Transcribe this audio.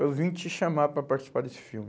Eu vim te chamar para participar desse filme.